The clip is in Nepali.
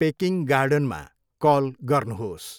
पेकिङ गार्डनमा कल गर्नुहोस्।